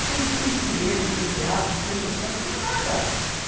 Você não tem cinema, não tem teatro, não tem motel, não tem mais nada.